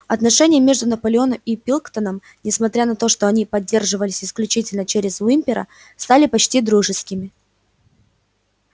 отношения между наполеоном и пилкингтоном несмотря на то что они поддерживались исключительно через уимпера стали почти дружескими